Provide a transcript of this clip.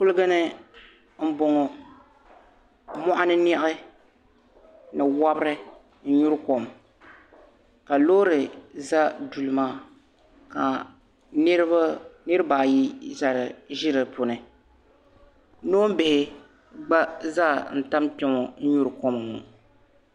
Kuligini m boŋɔ moɣani niɣi ni wobri n nyuri kom ka loori za duli maa ka niriba ayi ʒi di puuni noonbihi gba zaa n tam kpeŋɔ n nyuri kom ŋɔ.